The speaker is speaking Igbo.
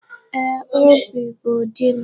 Ee, Obi bụ di m